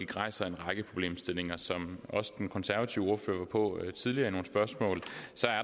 rejser en række problemstillinger som også den konservative ordfører var inde på tidligere i nogle spørgsmål